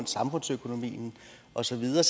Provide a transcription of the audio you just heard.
samfundsøkonomien og så videre